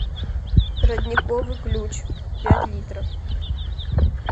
родниковый ключ пять литров